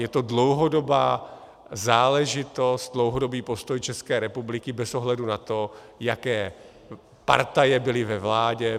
Je to dlouhodobá záležitost, dlouhodobý postoj České republiky bez ohledu na to, jaké partaje byly ve vládě.